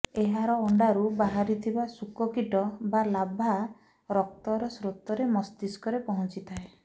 ଏହାର ଅଣ୍ଡାରୁ ବାହାରିଥିବା ଶୂକକୀଟ ବା ଲାର୍ଭା ରକ୍ତର ସ୍ରୋତରେ ମସ୍ତିଷ୍କରେ ପହଞ୍ଚିଥାଏ